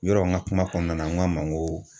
Yɔrɔ n ka kuma kɔnɔna na n ko a ma n ko